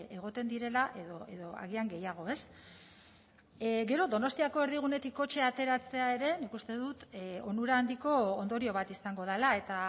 egoten direla edo agian gehiago ez gero donostiako erdigunetik kotxea ateratzea ere nik uste dut onura handiko ondorio bat izango dela eta